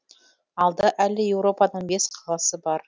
алда әлі европаның қаласы бар